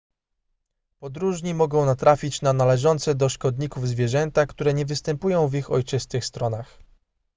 podróżni mogą natrafić na należące do szkodników zwierzęta które nie występują w ich ojczystych stronach